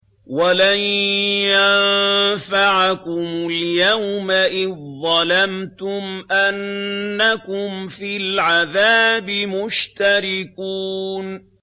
وَلَن يَنفَعَكُمُ الْيَوْمَ إِذ ظَّلَمْتُمْ أَنَّكُمْ فِي الْعَذَابِ مُشْتَرِكُونَ